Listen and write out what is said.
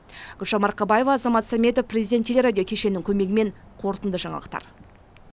гүлжан марқабаева азамат сәметов президент телерадио кешенінің көмегімен қорытынды жаңалықтар